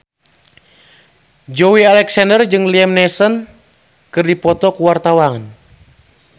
Joey Alexander jeung Liam Neeson keur dipoto ku wartawan